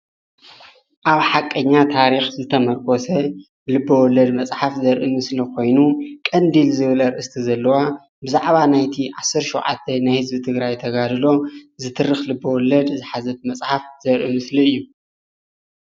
ኣብ ሓቀኛ ታሪኽ ዝተሞርኮሰ ልበወለድ መፅሓፍ ዘርኢ ምስሊ ኾይኑ ቀንዲል ዝብል ኣርእስታ ዘለዋ ብዛዕባ ናይቲ ዓሰርተ ሸውዓተ ዓመት ቃልሲ ህዝቢ ትግራይ ተጋድሎ ዝትርኽ ልበወለድ ዝሓዘት መፅሓፍ ዘሪኢ ምስሊ እዩ።